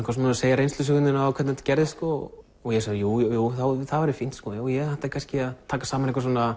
segja reynslusöguna þína og hvernig þetta gerðist og ég sagði jújú það væri fínt sko ég ætti kannski að taka saman